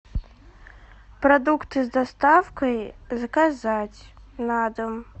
продукты с доставкой заказать на дом